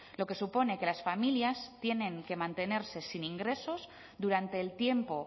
lo que supone que las familias tienen que mantenerse sin ingresos durante el tiempo